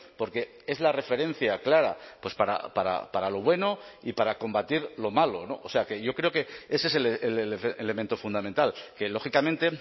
porque es la referencia clara para lo bueno y para combatir lo malo o sea que yo creo que ese es el elemento fundamental que lógicamente